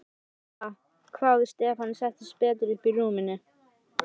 Ha?! hváði Stefán og settist betur upp í rúminu.